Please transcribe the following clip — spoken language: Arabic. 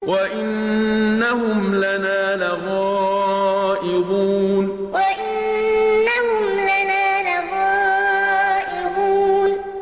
وَإِنَّهُمْ لَنَا لَغَائِظُونَ وَإِنَّهُمْ لَنَا لَغَائِظُونَ